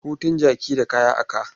Hutun jaki da kaya a ka.